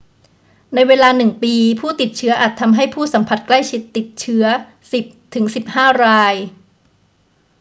ในเวลาหนึ่งปี ผู้ติดเชื้ออาจทำให้ผู้สัมผัสใกล้ชิดติดเชื้อ 10 ถึง 15 ราย